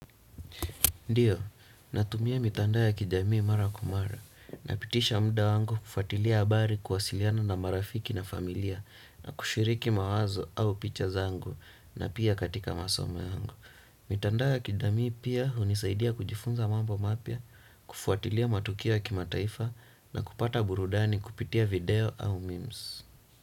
Ndiyo, natumia mitandao ya kijamii mara kwa mara napitisha muda wangu kufuatilia habari kuwasiliana na marafiki na familia na kushiriki mawazo au picha zangu na pia katika masomo yangu. Mitandao ya kijamii pia hunisaidia kujifunza mambo mapya, kufuatilia matukio ya kimataifa na kupata burudani kupitia video au memes.